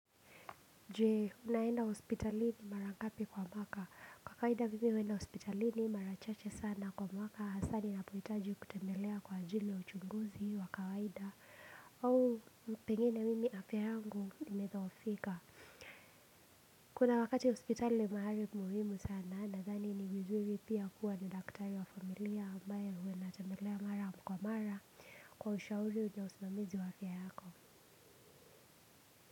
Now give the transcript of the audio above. Je unaenda hospitalini marangapi kwa mwaka kwa kawaida mimi huenda hospitalini marachache sana kwa mwaka hasaa ninapohitaji kutembelea kwa ajili ya uchunguzi wa kawaida au mpengine mimi afya yangu imethoofika kuna wakati hospitali mahari muhimu sana nadhani ni vizuri pia kuwa na daktari wa familia ambaye huwa natembelea mara kwa mara kwa ushauri na usimamizi wa afya yako.